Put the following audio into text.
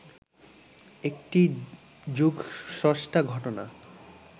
একটি যুগস্রষ্টা ঘটনা